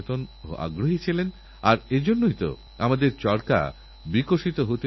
আমাদের যদি পরবর্তী প্রজন্মকে উদ্যোগী করতে হয় তাহলে আমাদেরছেলেদের এই কাজের সঙ্গে যুক্ত করতে হবে